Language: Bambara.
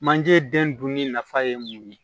Manje den dunni nafa ye mun ye